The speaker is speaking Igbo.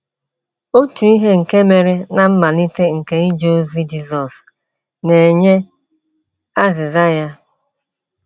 Otu ihe nke mere ná mmalite nke ije ozi Jisọs na - enye azịza ya.